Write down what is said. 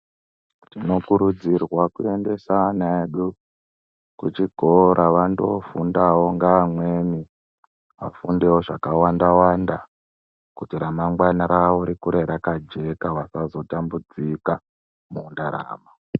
Tinokurudzirwa kuendesa ana edu kuchikora vandofundawo ngeamweni. Afundewo zvakawanda wanda kuti ramangwana ravo rikure rakajeka vasazotambudzika mundaramo.